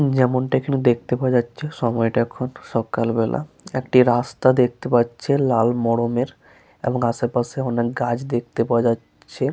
যেমনটা এইখানে দেখতে পাওয়া যাচ্ছে সময়টা এখন সকালবেলা। একটি রাস্তা দেখতে পাচ্ছে লাল মরমের এবং আশেপাশে অনেক গাছ দেখতে পাওয়া যাচ্ছে-এ।